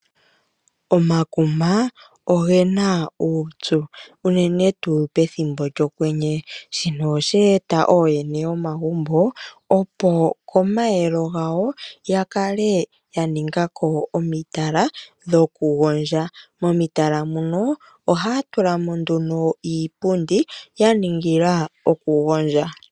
Omakuma ogena uupyu unene tuu pethimbo lyokwenye shino osheeta oyene yomagumbo opo pomayelo gawo ya kale yaningako omitala dhokugodja momitala muno ohaa tula mo nduno iipundi yangila okugondja.